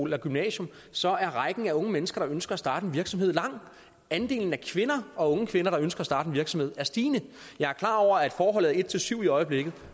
eller et gymnasium så er rækken af unge mennesker der ønsker at starte en virksomhed lang andelen af kvinder unge kvinder der ønsker at starte en virksomhed er stigende jeg er klar over at forholdet er en til syv i øjeblikket